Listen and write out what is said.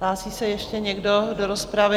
Hlásí se ještě někdo do rozpravy?